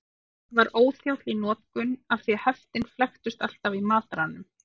Hann var óþjáll í notkun af því heftin flæktust alltaf í mataranum.